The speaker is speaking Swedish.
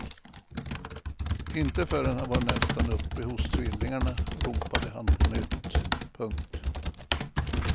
Inte förrän han var nästan uppe hos tvillingarna ropade han på nytt. punkt